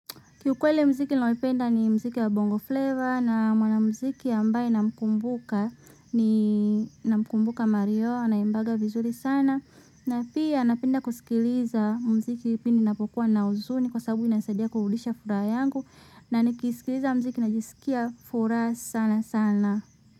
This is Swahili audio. Kiukwele mziki ninayoipenda ni mziki ya bongo flavor na mwanamziki ambaye namkumbuka ni namkumbuka mario anaimbaga vizuri sana. Na pia napenda kusikiliza mziki pindi ninapokuwa na huzuni kwa sababu inasadia kurudisha furaha yangu na nikisikiliza mziki najisikia furaha sana sana.